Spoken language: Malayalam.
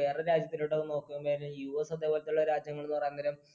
വേറെ രാജ്യത്തിലൊട്ടു നോക്കും നേരം US അതേ പോലത്തെ രാജ്യങ്ങൾ പറയാൻ നേരം